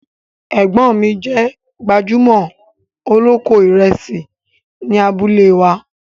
Ẹgbọ́n mi jẹ̀ gbajúmọ̀ oloko Ìrẹ̀sì ní àbúlẹ̀ wa.